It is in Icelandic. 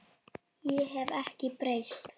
Ég hef ekkert breyst!